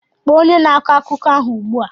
Kpọọ onye na-akọ akụkọ ahụ ugbu a!